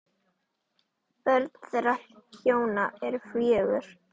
Börn þeirra hjóna eru fjögur.